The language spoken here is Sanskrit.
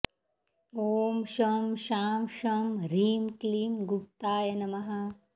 ॐ शं शां षं ह्रीं क्लीं गुप्ताय नमः